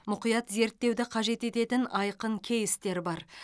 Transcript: мұқият зерттеуді қажет ететін айқын кейстер бар